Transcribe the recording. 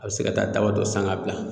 A bɛ se ka taa daba dɔ san k'a bila